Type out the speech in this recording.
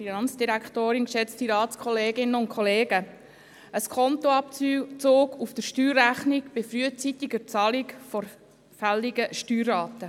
Ein Skontoabzug auf die Steuerrechnung bei frühzeitiger Zahlung der fälligen Steuerrate: